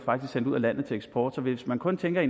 sendt ud af landet til eksport så hvis man kun tænker i